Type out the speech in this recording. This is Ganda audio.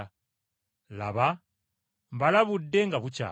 Laba mbalabudde nga bukyali!”